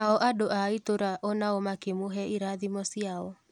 Nao andũ a itũra onao makĩ mũhe irathimo ciao.